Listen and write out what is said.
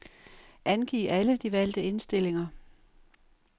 Angiv alle de valgte indstillinger.